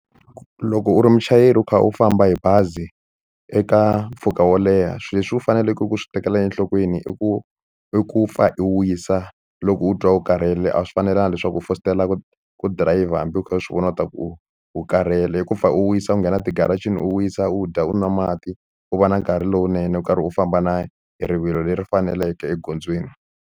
Loko u ri muchayeri u kha u famba hi bazi eka mpfhuka wo leha swilo leswi u faneleke ku swi tekela enhlokweni i ku i ku pfa i wisa loko u twa u karhele a swi fanelanga leswaku u fositela ku dirayivha hambi u kha u swi vona u ta ku u u karhele i ku pfa u wisa u nghena ti-garage-eni u wisa u dya u nwa mati u va na nkarhi lowunene u karhi u famba na hi rivilo leri faneleke egondzweni.